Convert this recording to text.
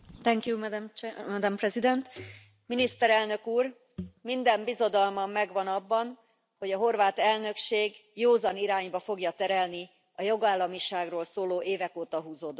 Elnök Asszony, Miniszterelnök Úr! Minden bizodalmam megvan, hogy a horvát elnökség józan irányba fogja terelni a jogállamiságról szóló, évek óta húzódó vitát.